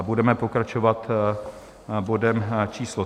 A budeme pokračovat bodem číslo